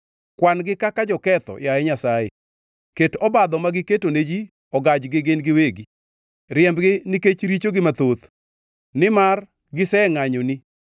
Kwan-gi kaka joketho, yaye Nyasaye! Ket obadho ma giketo ne ji ogajgi gin giwegi. Riembgi nikech richogi mathoth, nimar gisengʼanyoni.